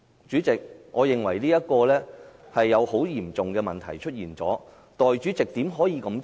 主席，我認為這是個很嚴重的問題，代理主席怎可以這樣做？